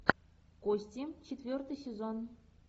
кости четвертый сезон